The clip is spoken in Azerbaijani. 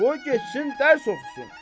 Qoy getsin dərs oxusun.